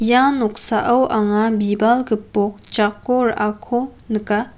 ia noksao anga bibal gipok jako ra·ako nika.